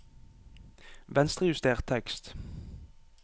Venstrejuster tekst